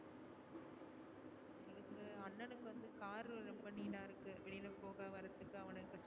ரொம்ப need அ இருக்கு வெளில போக வரத்துக்கு அவன